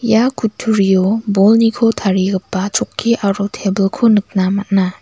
ia kuturio bolniko tarigipa chokki aro tebilko nikna man·a.